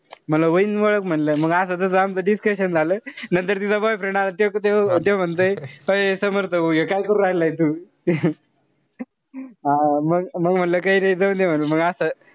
म्हणलं व्हाईन ओळख म्हणलं. मंग असं तस आमचं discussion झाला. नंतर तिचा boyfriend आला. लगेच त्यो ते म्हणतंय अय समर्थ भाऊ हे काय करू राहिलाय तू. म मंग म्हणलं काई नाई जाऊन दे म्हणलं. मंग असं,